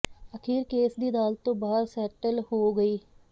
ਅਖੀਰ ਕੇਸ ਦੀ ਅਦਾਲਤ ਤੋਂ ਬਾਹਰ ਸੈਟਲ ਹੋ ਗਈ